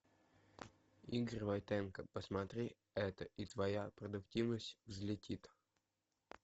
игорь войтенко посмотри это и твоя продуктивность взлетит